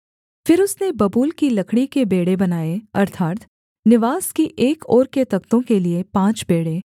फिर उसने बबूल की लकड़ी के बेंड़े बनाए अर्थात् निवास की एक ओर के तख्तों के लिये पाँच बेंड़े